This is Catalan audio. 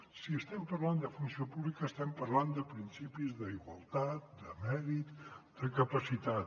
si estem parlant de funció pública estem parlant de principis d’igualtat de mèrit de capacitat